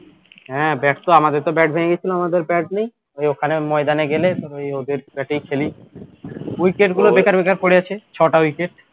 হ্যাঁ bat তো আমাদের তো bat ভেঙে গিয়েছিল আমাদের bat নেই তো ওখানে ওই ময়দানে গেলে ওই ওদের bat এই খেলি wicket গুলো বেকার বেকার পড়ে আছে ছটা wicket